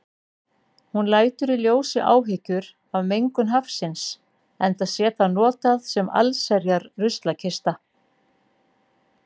Hún lætur í ljósi áhyggjur af mengun hafsins, enda sé það notað sem allsherjar ruslakista.